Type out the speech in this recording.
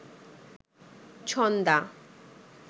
Chhanda